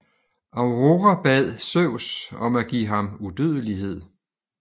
Aurora bad Zeus om at give ham udødelighed